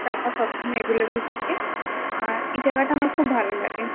টাকা সবসময় অ্যাভেলেবল থাকে আর এ জায়গাটা আমার খুব ভালো লাগে।